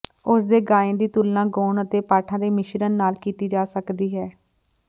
ਉਸ ਦੇ ਗਾਇਨ ਦੀ ਤੁਲਨਾ ਗਾਉਣ ਅਤੇ ਪਾਠਾਂ ਦੇ ਮਿਸ਼ਰਨ ਨਾਲ ਕੀਤੀ ਜਾ ਸਕਦੀ ਹੈ